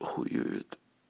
хуёвит